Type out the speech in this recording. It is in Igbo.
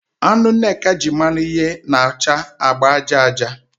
Anụ Nneka ji mmanụ yee na-acha agba aja aja